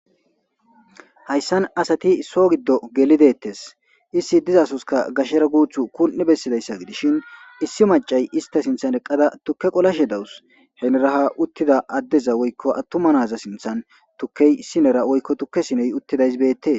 hayssan asati so giddo gelidettes issi dizasoska gashera guuthu kun7i bessidayssa gidishin issi macay ista sinthan eqqada tukke qolashe dawus heneraha uttida addeza woykko attuma naza sinthan tukkey issinera woykko tukke siney uttidaysbeettee